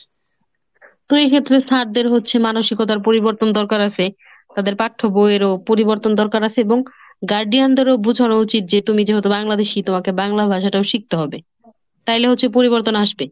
তো এক্ষেত্রে sir দের হচ্ছে মানসিকতার পরিবর্তন দরকার আছে। তাদের পাঠ্যবইয়েরও পরিবর্তন দরকার আছে এবং guardian দেরও বোঝানো উচিত যে তুমি যেহেতু বাংলাদেশী তোমাকে বাংলা ভাষাটাও শিখতে হবে। তাহলে হচ্ছে পরিবর্তন আসবে।